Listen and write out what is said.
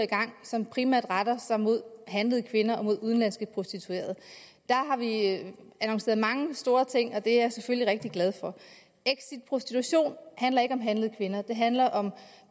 gang som primært retter sig mod handlede kvinder og mod udenlandske prostituerede der har vi annonceret mange store ting og det er jeg selvfølgelig rigtig glad for exit prostitution handler ikke om handlede kvinder det handler